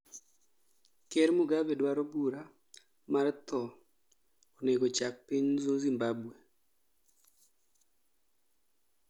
ker Mugabe dwaro bura mar thoo onego chak piny Zimbambwe